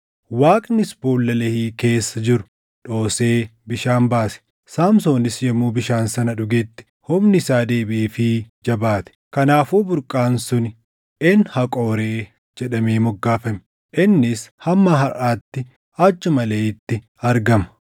Waaqnis boolla Lehii keessa jiru dhoosee bishaan baase. Saamsoonis yommuu bishaan sana dhugetti humni isaa deebiʼeefii jabaate. Kanaafuu burqaan suni Een Haqoree jedhamee moggaafame. Innis hamma harʼaatti achuma Leehiitti argama.